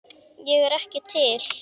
Ég er ekki til.